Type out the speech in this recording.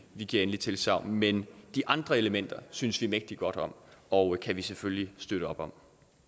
vi giver endeligt tilsagn men de andre elementer synes vi mægtig godt om og kan vi selvfølgelig støtte op om